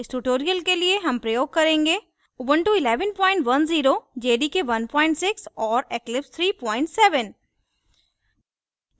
इस tutorial के लिए हम प्रयोग करेंगे